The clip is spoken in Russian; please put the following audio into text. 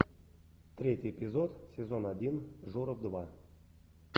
третий эпизод сезон один журов два